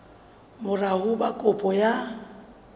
mora ho ba kopo ya